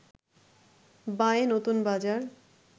বাঁয়ে নতুন বাজার